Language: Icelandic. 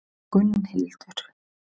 Gunnhildur